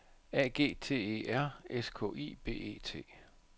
A G T E R S K I B E T